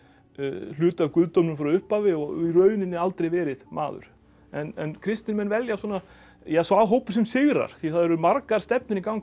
hluti af guðdómnum frá upphafi og í rauninni aldrei verið maður en kristnir menn velja svona ja sá hópur sem sigrar því það eru margar stefnur í gangi